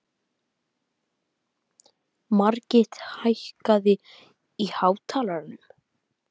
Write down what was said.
Margit, hækkaðu í hátalaranum.